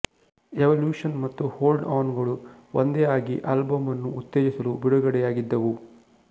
evolution ಮತ್ತು hold on ಗಳು ಒಂದೇ ಆಗಿ ಆಲ್ಬಂನ್ನು ಉತ್ತೇಜಿಸಲು ಬಿಡುಗಡೆಯಾಗಿದ್ದವು